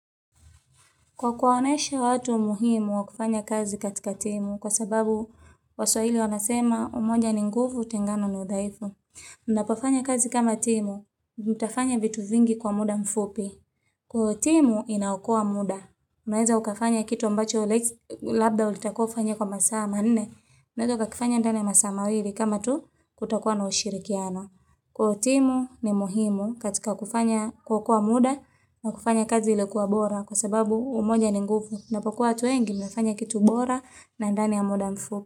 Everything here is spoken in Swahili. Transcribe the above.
Kwa kuonyeshe watu muhimu wa kufanya kazi katika timu kwa sababu waswahili wanasema umoja ni nguvu, utengano ni udhaifu. Mnapofanya kazi kama timu, mtafanya vitu vingi kwa muda mfupi. Kuwa timu inaokoa muda, unaweza ukafanya kitu ambacho labda ulitakiwa ufanye kwa masaa manne unaweza ukakifanya ndani ya masaa mawili kama tu kutakuwa na ushirikiano. Kuwa timu ni muhimu katika kufanya kuokoa muda na kufanya kazi iliyokuwa bora kwa sababu umoja ni nguvu mnapokuwa watu wengi mnafanya kitu bora na ndani ya muda mfupi.